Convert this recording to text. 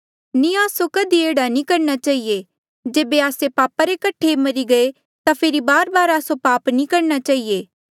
नी आस्सो कधी एह्ड़ा नी करणा चहिए जेबे आस्से पापा रे कठे मरी गये ता फेरी बारबार आस्सो पाप नी करणा चहिए